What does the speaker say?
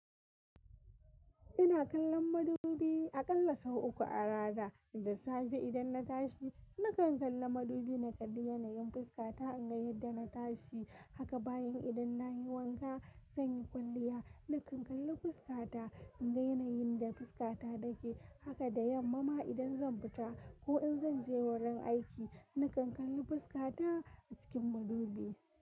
Ina kallon madubi a ƙalla sau uku a rana. Da safe idan na tashi na kan kalla madubi na kalli yanayin fuskata in ga yadda na tashi haka bayan idan na yi wanka zan yi kwalliya na kan kalli fuskata in ga yanayin da fuskata take. Haka da yamma ma idan zan fita ko in zan je wurin aiki na kan kalli fuskata a cikin madubi.